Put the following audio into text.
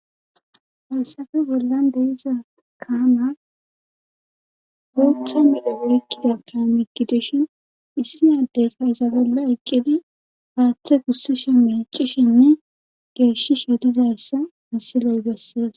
Hayssafe wollan deiza kaamar uotha miapurikidatamigidishin issi addeyka izabela eqqidi paaththe kussishen mecishinne geeshi shotizayssa misiley bessees